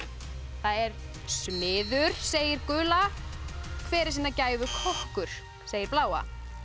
það er smiður segir gula hver er sinnar gæfu kokkur segir bláa